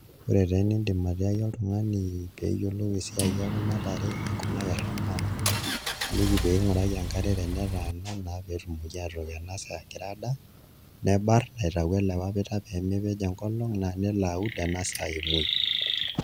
Ore taa enidim atiaki oltung'ani pee eyiolou esiai ekuna tare, ekuna kerra naa ilik pee ing'uraki enkare tenetaana naa pee etumoki aatook ena saa egira aadaa nibarn aitau ele papita pee mepej enkolong' naa nilo aud ena kata emuoi.